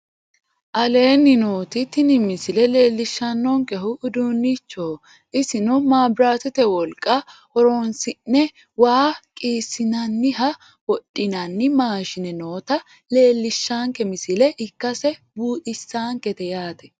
Aleenni nooti tini misile leellishaankehu uduunnichoho isino mabiraatette woliqa horoonsi'ne waa qiissinannina wodhinanni maashine nootta leellishaanke misile ikasse buuxisaankete yaate